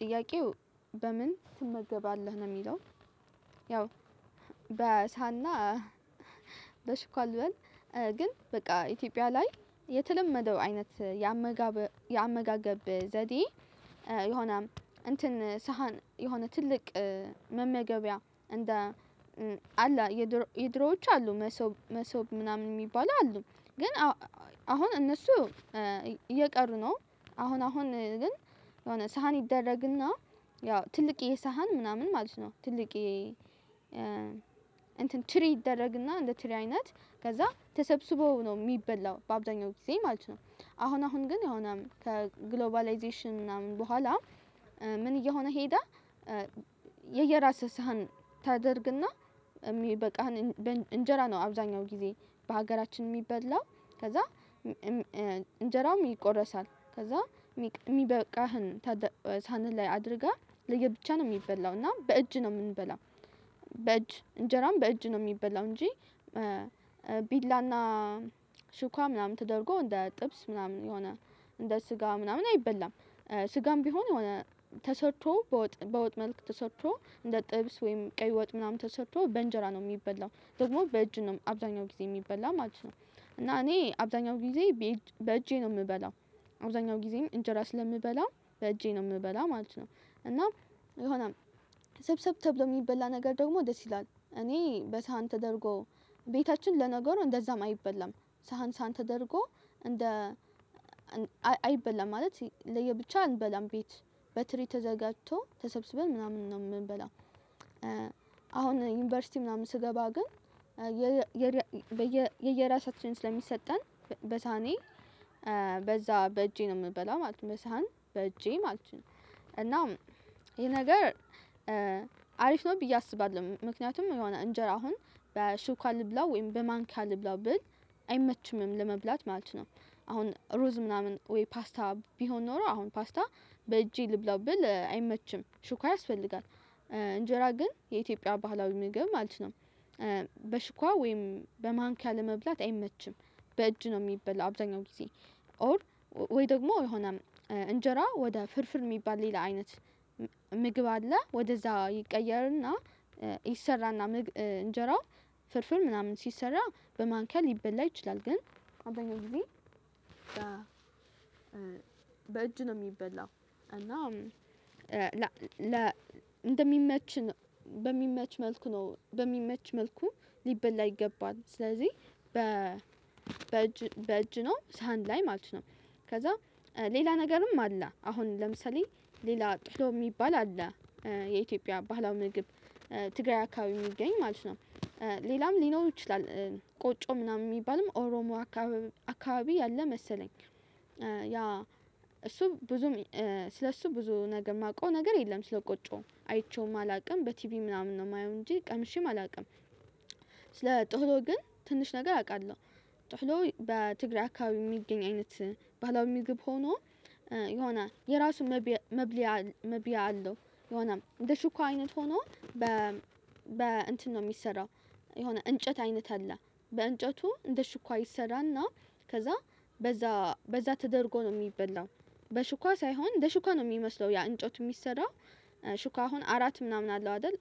ጥያቄው በምን ትመገባለህ ነው የሚለው? ያው በሰሃንና በሽኳ ልበል። ግን በቃ ኢትዮጵያ ላይ የተለመደው አይነት የአመጋገብ ዘዴ የሆነ እንትን ሳህን የሆነ ትልቅ መመገቢያ እንደ አላ የድሮዎች አሉ መሶብ መሶብ ምናምን የሚባሉ አሉ። ግን አሁን እነሱ እየቀሩ ነው አሁን አሁን ግን የሆነ ሳህን ይደረግና ያው ትልቅዬ ሳህን ምናምን ማለት ነው ትልቅዬ እንትን ትሪ ይደረግና እንደ ትሪ አይነት ከዛ ተሰብስበው ነው የሚበላው በአብዛኛው ጊዜ ማለት ነው። አሁን አሁን ግን የሆነ ከግሎባላይዜሽን ምናምን በኋላ ምን እየሆነ ሄደ። የየራስህ ሳህን ታደርግና የሚበቃህን እንጀራ ነው አብዛኛው ጊዜ በሀገራችን የሚበላው ከዛ እንጀራውም ይቆረሳል ከዛ የሚበቃህን ሰሀንህ ላይ አድርገህ ለየብቻ ነው የሚበላው እና በእጅ ነው የምንበላው። በእጅ እንጀራም በእጅ ነው የሚበላው እንጂ ቢላና ሽኳ ምናምን ተደርጎ እንደ ጥብስ ምናምን የሆነ እንደ ስጋ ምናምን አይበላም። ስጋም ቢሆን የሆነ ተሰርቶ በወጥ በወጥ መልክ ተሰርቶ እንደ ጥብስ ወይም ቀይ ወጥ ምናምን ተሰርቶ በእንጀራ ነው የሚበላው ደግሞ በእጅ ነው አብዛኛው ጊዜ የሚበላው ማለት ነው። እና እኔ አብዛኛው ጊዜ በእጄ ነው የምበላው አብዛኛው ጊዜም እንጀራ ስለምበላ በእጄ ነው የምበላው ማለት ነው። እና የሆነ ስብሰብ ተብሎ የሚበላ ነገር ደግሞ ደስ ይላል እኔ በሳህን ተደርጎ ቤታችን ለነገሩ እንደዛም አይበላም ሳህን ሳህን ተደርጎ እንደ አይበላም ማለት ለየብቻ አንበላም ቤት በትሪ ተዘጋጅቶ ተሰብስበን ምናምን ነው የምንበላው። አሁን ዩኒቨርሲቲ ምናምን ስገባ ግን የየራሳችን ስለሚሰጠን በሳህኔ በዛ በእጄ ነው የምንበላው ማለት ነው በሳህን በእጄ ማለት ነው። እና ይሄ ነገር አሪፍ ነው ብዬ አስባለሁ ምክንያቱም የሆነ እንጀራ አሁን በሹካ ልብላው ወይም በማንኪያ ልብላው ብል አይመችምም ለመብላት ማለት ነው። አሁን ሩዝ ምናምን ወይ ፓስታ ቢሆን ኖሮ አሁን ፓስታ በእጄ ልብላው ብል አይመችም ሹካ ያስፈልጋል። እንጀራ ግን የኢትዮጵያ ባህላዊ ምግብ ማለት ነው በሹካ ወይም በማንኪያ ለመብላት አይመችም። በእጅ ነው የሚበላው አብዛኛው ጊዜ ኦር ወይ ደግሞ የሆነ እንጀራ ወደ ፍርፍር የሚባል ሌላ አይነት ምግብ አለ ወደዛ ይቀየርና ይሰራና እንጀራ ፍርፍር ምናምን ሲሰራ በማንኪያ ሊበላ ይችላል ግን አብዛኛውን ጊዜ በእጅ ነው የሚበላው። እና እንደሚመች በሚመች መልኩ ነው በሚመች መልኩ ሊበላ ይገባል ስለዚህ በእጅ ነው ሳህን ላይ ማለት ነው። ከዛ ሌላ ነገርም አለ አሁን ለምሳሌ ሌላ ጥህሎ የሚባል አለ የኢትዮጵያ ባህላዊ ምግብ ትግራይ አካባቢ የሚገኝ ማለት ነው ሌላም ሊኖር ይችላል። ቆጮ ምናምን የሚባልም ኦሮሞ አካባቢ ያለ መሰለኝ ያ እሱ ብዙም ስለእሱ ብዙ ነገር የማውቀው ነገር የለም ስለ ቆጮ አይቼውም አላውቅም በቲቪ ምናምን ነው የማየው እንጂ ቀምሼም አላውቅም። ስለ ጥህሎ ግን ትንሽ ነገር አውቃለሁ ጥህሎ በትግራይ አካባቢ የሚገኝ አይነት ባህላዊ ምግብ ሆኖ የሆነ የራሱ መብያ አለው የሆነ እንደ ሹካ አይነት ሆኖ በእንትን ነው የሚሰራው። የሆነ እንጨት አይነት አለ በእንጨቱ እንደ ሹካ ይሰራና ከዛ በዛ በዛ ተደርጎ ነው የሚበላው በሹካ ሳይሆን እንደ ሹካ ነው የሚመስለው ያ እንጨቱ የሚሰራው ሹካ አሁን አራት ምናምን አለው አይደል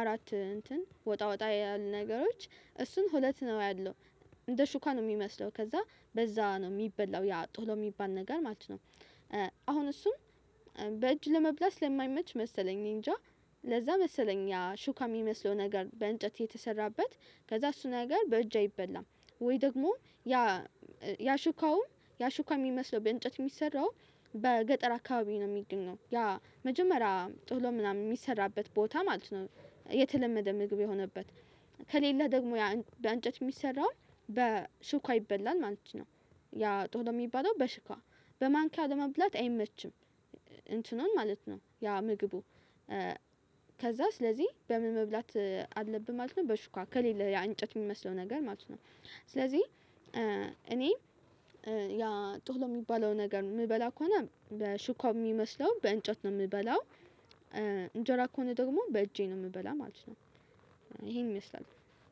አራት እንትን ወጣ ወጣ ያሉ ነገሮች እሱን ሁለት ነው ያለው እንደ ሹካ ነው የሚመስለው ከዛ በዛ ነው የሚበላው ያ ጥህሎ የሚባል ነገር ማለት ነው። አሁን እሱ በእጅ ለመብላት ስለማይመች መሰለኝ እኔንጃ ለዛ መሰለኝ ያ ሹካ የሚመስለው ነገር በእንጨት የተሰራበት ከዛ እሱ ነገር በእጅ አይበላም። ወይ ደግሞ ያ ያ ሹካውም ያ ሹካ የሚመስለው በእንጨት የሚሰራው በገጠር አካባቢ ነው የሚገኘው ያ መጀመሪያ ጥህሎ ምናምን የሚሰራበት ቦታ ማለት ነው። የተለመደ ምግብ የሆነበት ከሌለህ ደግሞ በእንጨት የሚሰራው በሹካ ይበላል ማለት ነው ያ ጥህሎ የሚባለው በሹካ በማንኪያ ለመብላት አይመችም። እንትኑን ማለት ነው ያ ምግቡ ከዛ ስለዚህ በምን መብላት አለብህ ማለት ነው በሹካ ከሌለ ያ እንጨት የሚመስለው ነገር ማለት ነው። ስለዚህ እኔ ያ ጥህሎ የሚባለው ነገር የምበላ ከሆነ በሹካ በሚመስለው በእንጨት ነው የምበላው። እንጀራ ከሆነ ደግሞ በእጄ ነው የምበላው ማለት ነው። ይሄን ይመስላል